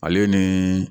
Ale ni